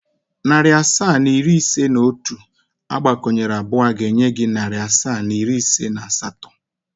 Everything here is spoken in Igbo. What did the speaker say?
Narị asaa na iri ise na otu agbakọnyere abụọ ga-enye gị narị asaa na iri ise na atọ.